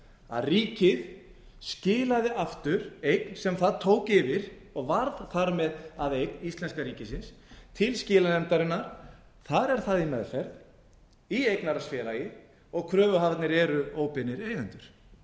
að ríkið skilaði aftur eign sem það tók yfir og varð þar með að eign íslenska ríkisins til skilanefndarinnar þar er það í meðferð í eignarhaldsfélagi og kröfuhafarnir eru óbeinir eigendur